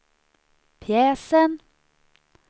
pjäsen